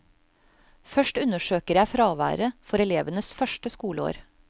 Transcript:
Først undersøker jeg fraværet for elevenes første skoleår.